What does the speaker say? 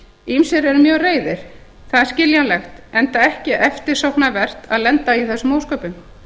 ýmsir eru mjög reiðir það er skiljanlegt enda ekki eftirsóknarvert að lenda í þessum ósköpum